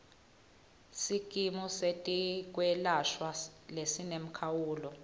sikimu setekwelashwa lesinemkhawulo